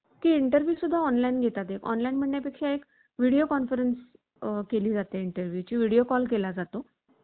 की interview सुद्धा online घेता ते online भरण्या पेक्षा एक video conference केली जाते. interview ची video call केला जातो.